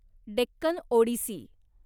Deccan Odissi